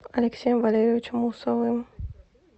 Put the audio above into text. алексеем валерьевичем усовым